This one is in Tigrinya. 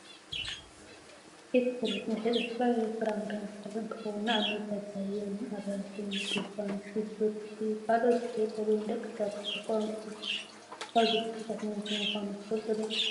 ኤትፍሩት መሸጢ ዝተፈላለዩ ፍራምረን ተክልን እንተከውን ንኣብነት ባባዮን፣ ኣራንሽን፣ ድቧን፣ ሽጉርቲ ካልኦትን ዝሽየጠሉ ንደቂ ሰባት ብጣዕሚ ጠቀምቲ ካብ ዝባሃሉ ዓይነታት ምግቢ ምኳኖም ትፈልጡ ዶ?